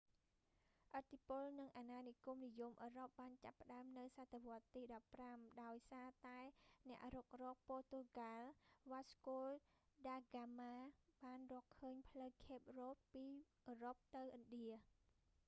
ឥទ្ធិពល និង អាណានិគមនិយមអឺរ៉ុបបានចាប់ផ្តើមនៅសតវត្សរ៍ទី 15 ដោយសារតែអ្នករុករក ព័រទុយហ្កាល់ វ៉ាស្កូដាហ្កាម៉ា បានរកឃើញផ្លូវ ខេប រ៉ូត ពីអឺរ៉ុបទៅឥណ្ឌា